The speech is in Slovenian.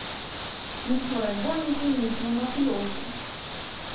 Mi smo razbojniki, mi smo mafijozi!